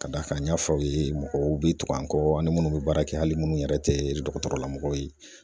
Ka da kan n y'a fɔ aw ye ,mɔgɔw be tugu an kɔ ani munnu be baara kɛ hali munnu yɛrɛ tɛ dɔgɔtɔrɔlamɔgɔw ye.